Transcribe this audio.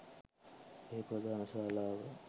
එහි ප්‍රධාන ශාලාව